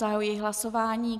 Zahajuji hlasování.